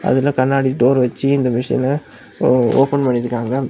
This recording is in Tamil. இதுல கண்ணாடி டோர் வச்சு இந்த மெஷின ஓப்பன் பண்ணி இருக்காங்க.